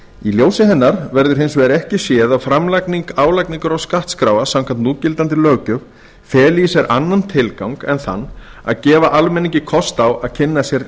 í ljósi hennar verður hins vegar ekki séð að framlagning álagningar og skattskráa samkvæmt núgildandi löggjöf feli í sér annan tilgang en þann að gefa almenningi kost á að kynna sér